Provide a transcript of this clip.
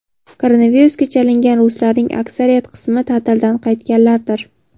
Koronavirusga chalingan ruslarning aksariyat qismi ta’tildan qaytganlardir.